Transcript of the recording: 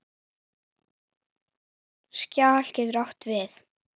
Skjal getur átt við